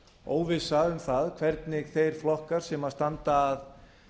óvissa um það hvernig þeir flokkar sem standa að